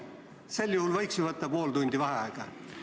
Sel juhul võiks ju ühe pooletunnise vaheaja teha?